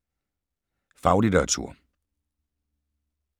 Faglitteratur